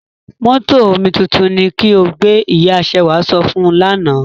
Mótò omituntun ni ki o gbé! Ìya Ṣewà sọ fún un lánà.